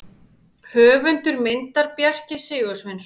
Höfundur myndar: Bjarki Sigursveinsson.